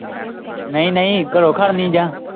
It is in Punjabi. ਨਹੀਂ ਨਹੀਂ ਘਰੋਂ ਖੜਨੀ ਜਾਂ?